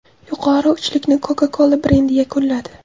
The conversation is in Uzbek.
Yuqori uchlikni Coca-Cola brendi yakunladi.